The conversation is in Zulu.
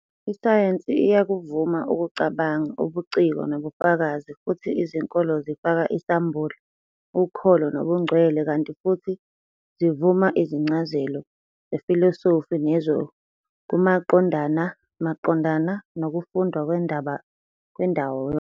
Isayensi iyakuvuma ukucabanga, ubuciko, nobufakazi, futhi izinkolo zifaka isambulo, ukholo nobungcwele kanti futhi zivuma izincazelo zefilosofi nezokumaqondana maqondana nokufundwa kwendawo yonke.